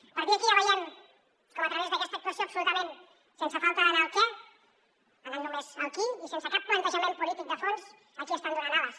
a partir d’aquí ja veiem a través d’aquesta actuació absolutament sense falta d’anar al què anant només al qui i sense cap plantejament polític de fons a qui estan donant ales